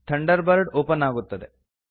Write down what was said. thunder bird open ಅಗುತ್ತದೆ